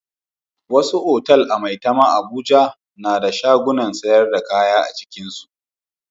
Wasu otal a Maitama Abuja na da shagunan sayar da kaya a cikinsu.